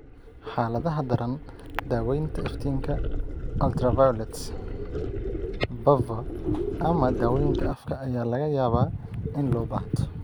Xaaladaha daran, daawaynta iftiinka ultraviolet (PUVA) ama dawooyinka afka ayaa laga yaabaa in loo baahdo.